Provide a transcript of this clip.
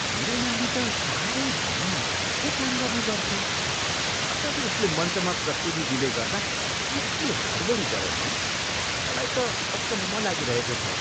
मेरो नानी त साह्रै ध्यान लगाएर पो काम गर्ने गर्थ्यो। कसरी उसले मञ्चमा प्रस्तुति दिँदैगर्दा यति हडबडी गऱ्यो, हँ? मलाई त अचम्म लागिरहेको छ।